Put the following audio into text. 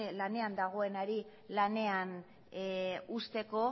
lanean dagoenari lanean uzteko